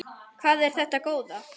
Hvað er þetta góða!